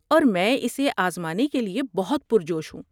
اور میں اسے آزمانے کے لیے بہت پرجوش ہوں۔